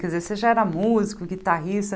Quer dizer, você já era músico, guitarrista?